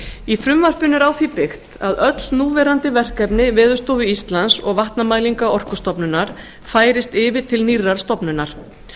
í frumvarpinu er á því byggt að öll núverandi verkefni veðurstofu íslands og vatnamælinga orkustofnunar færist yfir til nýrrar stofnunar